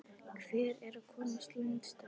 Hver er að komast lengst að?